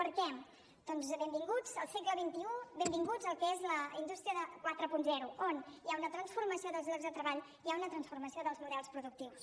per què doncs benvinguts al segle xxi benvinguts al que és la indústria quaranta on hi ha una transformació dels llocs de treball hi ha una transformació dels models productius